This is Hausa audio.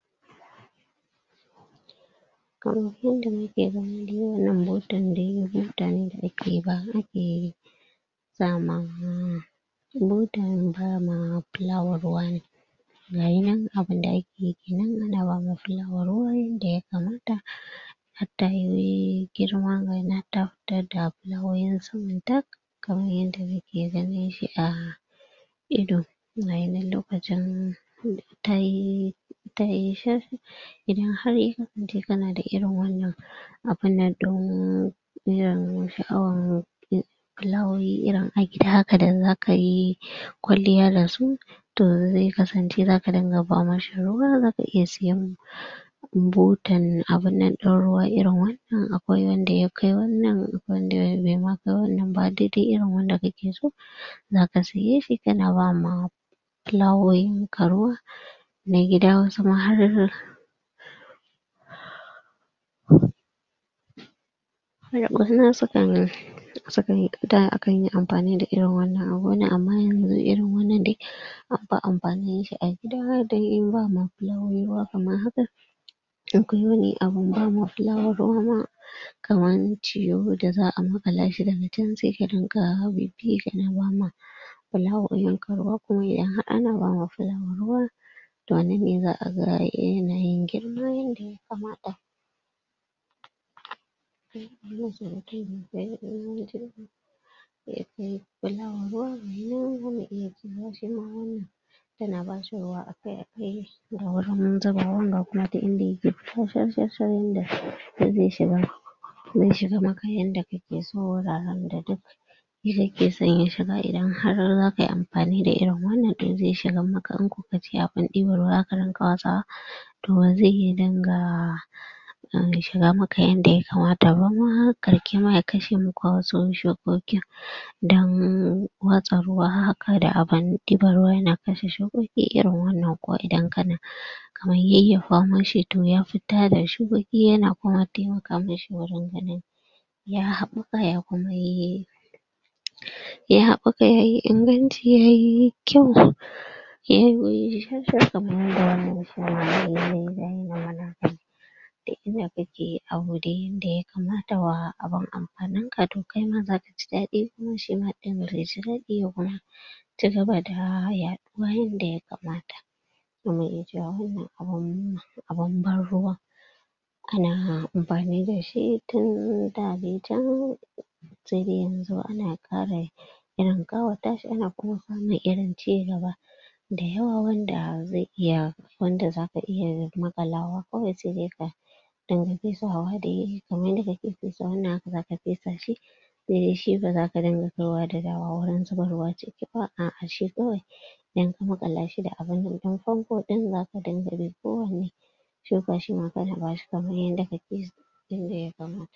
Kaman yanda muke gani dai wannan butan dai butane da ake ba ake sama butan bama fulawa ruwa ne. Gaya nan abun da ake yi nan ana bawa fulawa ruwa yanda ya kamata har tayi girma gaya nan ta ta fitadda fulawowi saman ta, kaman yanda muke ganin shi a ido. Gaya nan lokacin tayi tayi shar. Idan har yanzu ka na da irin wannan abun nan ɗin iyan, sha'awan fulawowin irin a gida haka da zaka yi kwalliya da su to zai kasance za ka dinga ba ma shi ruwa za ka iya sayen butan abun nan ɗin ruwa irin wannan in akwai wanda ya kai wannan wanda bai ma kai wannan ba, duk irin wanda kake so, za ka siye shi ka na ba ma fulawowin ka ruwa, na gida, wasu ma har har da sukan sukan yi da akan yi amfani da irin wannan abu wannan, amma yanzu irin wannan dai anfi amfani da shi da dai bama fulawowi ruwa kamar haka. Akwai wani abun bama fulawa ruwa ma kaman tiyo da za'a maƙala shi daga can zai rinƙa bibbi ka na ba ma fulawowin ka ruwa. Kuma idan har ana ba ma fulawa ruwa to a nan ne za'a ga yanayin girma kamata ya kai fulawa ruwa ita ma wannan ta na ba shi ruwa akai-akai da wurin zubawan da kuma duk inda ya ke shar-shar-shar yanda zai shiga zai shiga maka yanda kake so, wuraren da duk kake son ya shiga idan har za ka yi amfani da irin wannan to zai shigan maka yafi ɗibar ruwa za ka dinga watsawa to wa zai yi ya dinga ya dinga shiga maka yanda ya kamata ba ma ƙarsh ma ya kashe muku wasu shukokin. Don watsa ruwa had da abun ɗibar ruwa ya na kashe shukoki irin wannan ko idan ka na kama yayyafa mashi to ya ta da shukoki ya na kuma taimaka mishi wurin ganin ya haɓaka ya kuma yi ya haɓaka yayi inganci yayi kyau yayi shar-shar. kamar yanda da inda kake abu da yanda ba zatawa abun amfanin ka to kaima za ka ji daɗi kuma shi ma ɗin ya ji daɗi ya cigaba da yaɗuwa yanda ya kamata. Za mu iya cewa wannan abun, abun ban ruwa ana amfani da shi tun da dai can sai dai yanzu ana ƙara irin ƙawata shi ana kuma samun irin cigaba da yawa wanda zai iya wanda za iya maƙalawa kawai sai dai ka dinga fesawa dai kaman yanda kake fesa wannan haka za ka fesa shi. Sai dai shi ba za ka dinga kaiwa da dawowa wurin zubarwa Idan ka maƙala shi da abun nan ɗin famfo ɗin za ka dinga liƙowa ne kaman yanda kake